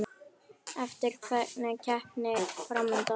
Er einhver keppni fram undan?